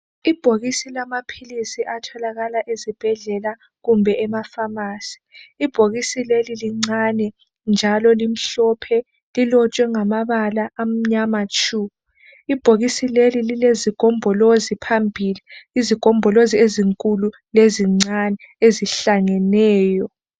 Ibhokisi lamaphilisi atholakala ezibhedlela kumbe emafamasi ibhokisi leli lincane njalo limhlophe lilotshwe ngamabala amnyama tshu ibhokisi Leli lilezigombholozi phambili izigombolozi ezinkulu lezincane ezihlangeneyo